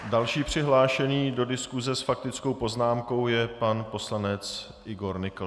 Další přihlášený do diskuse s faktickou poznámkou je pan poslanec Igor Nykl.